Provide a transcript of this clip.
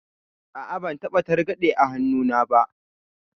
A'a, ban taɓa targaɗe a hannuna ba.